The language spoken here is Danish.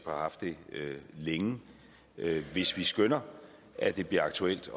og har haft det længe til hvis vi skønner at det bliver aktuelt